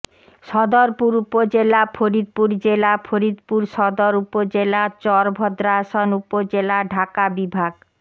সদরপুর উপজেলা ফরিদপুর জেলা ফরিদপুর সদর উপজেলা চরভদ্রাসন উপজেলা ঢাকা বিভাগ